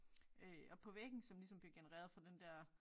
Øh oppe på væggen som ligesom bliver genereret fra den der